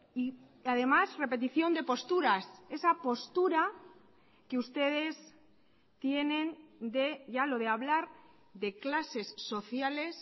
y además repetición de posturas esa postura que ustedes tienen de ya lo de hablar de clases sociales